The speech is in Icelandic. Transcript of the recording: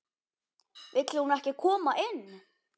Vill hún ekki koma inn?